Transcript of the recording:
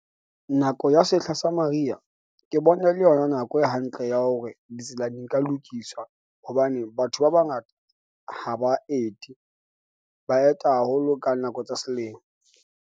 Nako ya sehla sa mariha ke bona e le yona nako e hantle ya hore ditsela di nka lokiswa hobane batho ba bangata ha ba ete. Ba eta haholo ka nako tsa selemo.